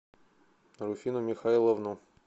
руфину михайловну